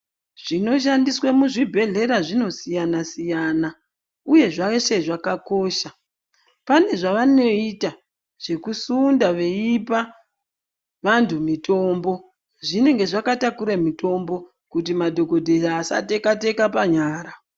Zvinoshandiswe muzvibhedhlera zvinosiyana-siyana uye zveshe zvakakosha. Pane zvavanoita zvekusunda veipa vantu mitombo. Zvinenge zvakatakure mitombo kuti madhogodheya asateka-teka panyara.